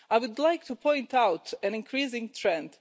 I would like to point out an increasing trend.